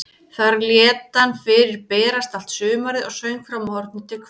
Þar lét hann fyrir berast allt sumarið og söng frá morgni til kvölds.